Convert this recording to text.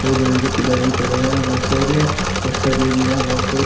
और लोहे के पिलर भी खड़े हैं बोहोत सारे और सरिए भी हैं यहाँ बोहोत सारे।